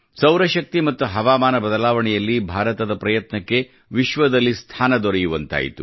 ಸೌರ ಶಕ್ತಿ ಮತ್ತು ಹವಾಮಾನ ಬದಲಾವಣೆಯಲ್ಲಿ ಭಾರತದ ಪ್ರಯತ್ನಕ್ಕೆ ವಿಶ್ವದಲ್ಲಿ ಸ್ಥಾನ ದೊರೆಯುವಂತಾಯಿತು